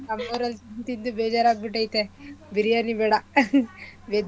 ನಮ್ಮೂರಲ್ಲಿ ತಿಂದು ತಿಂದು ಬೇಜಾರಗ್ಬಿಟೈತೆ ಬಿರ್ಯಾನಿ ಬೇಡ veg ಏನಾದ್ರು